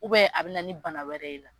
a bɛ na ni bana wɛrɛ ye.